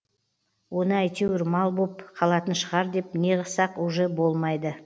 оны әйтеуір мал боп қалатын шығар деп неғысақ уже болмайды